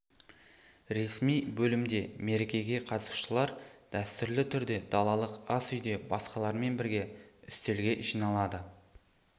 ресми бөлімде мерекеге қатысушылар дәстүрлі түрде далалық ас үйде басқалармен бірге үстелге жиналады